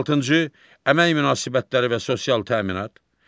16-cı əmək münasibətləri və sosial təminat.